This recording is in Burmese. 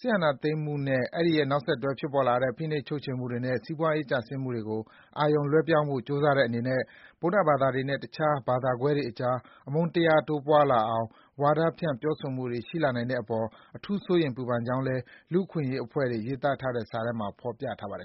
စစ်အာဏာသိမ်းမှုနဲ့ အဲဒီရဲ့နောက်ဆက်တွဲ ဖြစ်ပေါ်လာတဲ့ ဖိနှိပ်ချုပ်ခြယ်မှုတွေနဲ့ စီးပွားရေး ကျဆင်းမှုတွေကို အာရုံလွှဲဖို့ ကြိုးစားတဲ့အနေနဲ့ ဗုဒ္ဓဘာသာတွေနဲ့ တခြားဘာသာကွဲတွေအကြား အမုန်းတရား တိုးပွားလာအောင် ဝါဒဖြန့် ပြောဆိုမှုတွေ ရှိလာနိုင်တဲ့အပေါ် အထူး စိုးရိမ်ပူပန်ကြောင်းလည်း လူ့အခွင့်အရေးအဖွဲ့တွေ ရေးသားထားတဲ့စာထဲမှာ ဖော်ပြထားပါတယ်